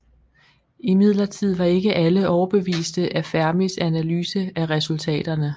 Imidlertid var ikke alle overbeviste af Fermis analyse af resultaterne